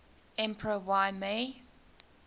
emperor y mei